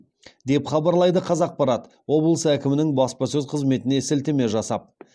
деп хабарлайды қазақпарат облыс әкімінің баспасөз қызметіне сілтеме жасап